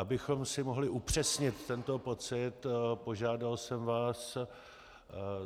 Abychom si mohli upřesnit tento pocit, požádal jsem vás,